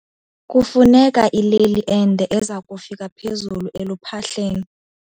Kufuneka ileli ende eza kufika phezulu eluphahleni.